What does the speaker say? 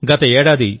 మిత్రులారా